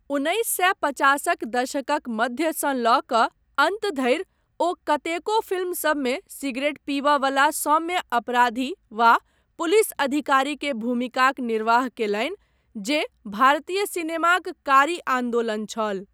उन्नैस सए पचासक दशकक मध्यसँ लऽ कऽ अन्त धरि ओ कतेको फिल्मसबमे सिगरेट पीबय वला सौम्य अपराधी वा पुलिस अधिकारी के भूमिकाक निर्वाह कयलनि जे भारतीय सिनेमाक कारी आन्दोलन छल।